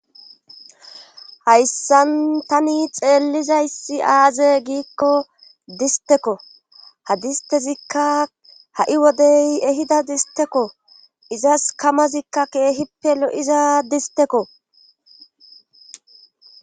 Hayssan tani xeellizayssi aaze giikko distekko hadistezikka ha'i wodey ehida distekko izas kamazikka keehippe lo'iza distekko.